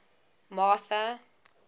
martha